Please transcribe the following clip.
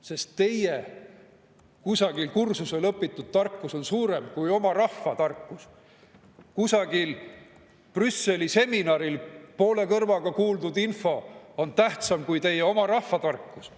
Sest teie kusagil kursusel õpitud tarkus on suurem kui oma rahva tarkus, kusagil Brüsseli seminaril poole kõrvaga kuuldud info on tähtsam kui teie oma rahva tarkus.